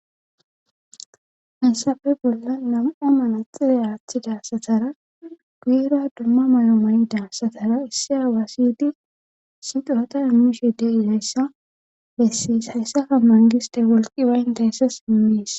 issafe bolla nama'a mana xilalaathida satara guyera dumma mayo mayida satara issi awaasidi si xurata miishe deidayssa bessees hayssaka mangiste wolqi wayn dayssa immiis.